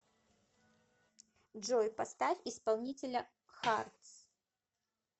джой поставь исполнителя хартс